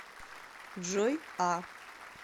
джой а